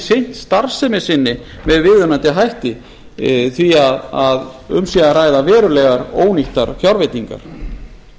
sinnt starfsemi sinni með viðunandi hætti og því sé um sé að verulega ónýttar fjárveitingar